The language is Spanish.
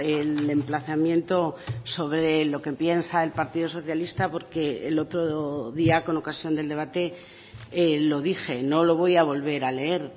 el emplazamiento sobre lo que piensa el partido socialista porque el otro día con ocasión del debate lo dije no lo voy a volver a leer